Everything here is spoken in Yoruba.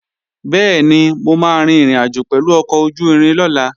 Bẹ́ẹ̀ni, mo máa rin ìrìnàjò pẹ̀lú ọkọ̀ ojú-irin lọ́la